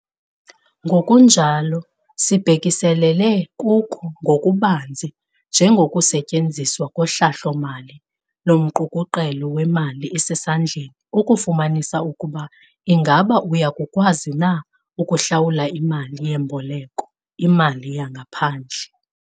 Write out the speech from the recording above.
Ngokunjalo sibhekiselele kuko ngokubanzi njengokusetyenziswa kohlahlo-mali lomqukuqelo wemali esesandleni ukufumanisa ukuba ingaba uya kukwazi na ukuhlawula imali yemboleko imali yangaphandle.